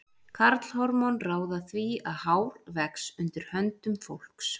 Karlhormón ráða því að hár vex undir höndum fólks.